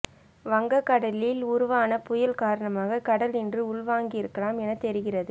வங்கக்கடலில் உருவான புயல் காரணமாக கடல் இன்று உள்வாங்கியிருக்கலாம் என தெரிகிறது